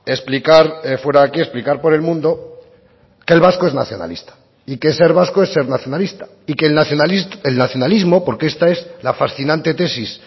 explicar fuera que explicar por el mundo que el vasco es nacionalista y que ser vasco es ser nacionalista y que el nacionalismo porque esta es la fascinante tesis